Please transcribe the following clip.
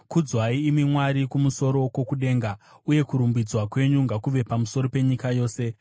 Kudzwai, imi Mwari, kumusoro kwokudenga, uye kurumbidzwa kwenyu ngakuve pamusoro penyika yose.